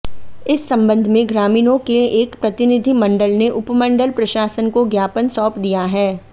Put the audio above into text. इस संबंध में ग्रामीणों के एक प्रतिनिधिमंडल ने उपमंडल प्रशासन को ज्ञापन सौंप दिया है